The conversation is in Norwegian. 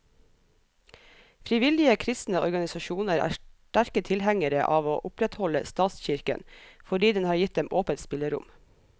Frivillige kristne organisasjoner er sterke tilhengere av å opprettholde statskirken, fordi den har gitt dem åpent spillerom.